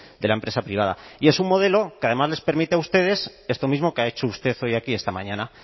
de la empresa privada y es un modelo que además les permite a ustedes esto mismo que ha hecho usted hoy aquí esta mañana